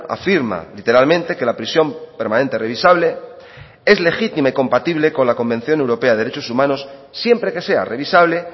afirma literalmente que la prisión permanente revisable es legítima y compatible con la convención europea de derechos humanos siempre que sea revisable